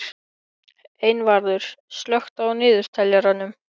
Einvarður, slökktu á niðurteljaranum.